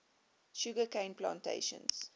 sugar cane plantations